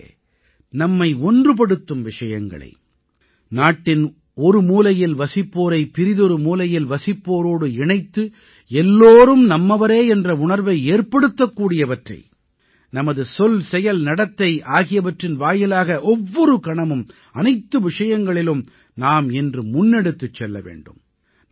நண்பர்களே நம்மை ஒன்றுபடுத்தும் விஷயங்களை நாட்டின் ஒருமூலையில் வசிப்போரை பிறிதொரு மூலையில் வசிப்போரோடு இணைத்து எல்லோரும் நம்மவரே என்ற உணர்வை ஏற்படுத்தக்கூடியவற்றை நமது சொல்செயல்நடத்தை ஆகியவற்றின் வாயிலாக ஒவ்வொரு கணமும் அனைத்து விஷயங்களிலும் நாம் இன்று முன்னெடுத்துச் செல்ல வேண்டும்